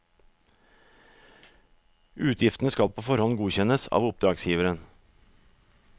Utgiftene skal på forhånd godkjennes av oppdragsgiveren.